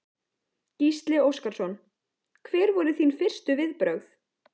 Gísli Óskarsson: Hver voru þín fyrstu viðbrögð?